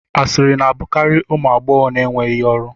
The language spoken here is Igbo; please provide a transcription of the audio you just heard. Asịrị na-abụkarị ụmụ agbọghọ na-enweghị ọrụ